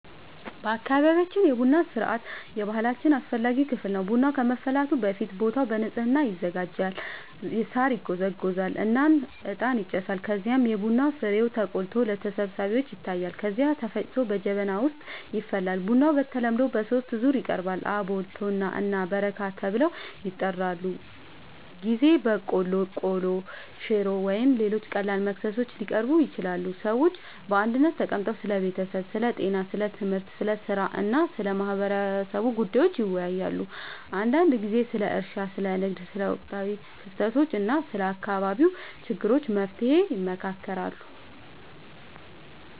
በአካባቢያችን የቡና ሥርዓት የባህላችን አስፈላጊ ክፍል ነው። ቡናው ከመፍላቱ በፊት ቦታው በንጽህና ይዘጋጃል፣ ሳር ይጎዘጎዛል እና እጣን ይጨሳል። ከዚያም የቡና ፍሬው ተቆልቶ ለተሰብሳቢዎች ይታያል፣ ከዚያ ተፈጭቶ በጀበና ይፈላል። ቡናው በተለምዶ በሦስት ዙር ይቀርባል፤ አቦል፣ ቶና እና በረካ ተብለው ይጠራሉበ ጊዜ በቆሎ፣ ቆሎ፣ ሽሮ ወይም ሌሎች ቀላል መክሰሶች ሊቀርቡ ይችላሉ። ሰዎች በአንድነት ተቀምጠው ስለ ቤተሰብ፣ ስለ ጤና፣ ስለ ትምህርት፣ ስለ ሥራ እና ስለ ማህበረሰቡ ጉዳዮች ይወያያሉ። አንዳንድ ጊዜ ስለ እርሻ፣ ስለ ንግድ፣ ስለ ወቅታዊ ክስተቶች እና ስለ አካባቢው ችግሮች መፍትሔ ይመካከራሉ